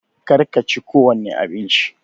Kar ka chi ko wani abinci!